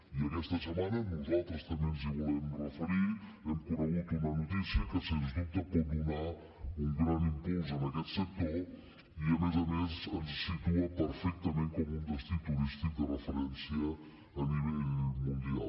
i aquesta setmana nosaltres també ens hi volem referir hem conegut una notícia que sens dubte pot donar un gran impuls a aquest sector i a més a més ens situa perfectament com un destí turístic de referència a nivell mundial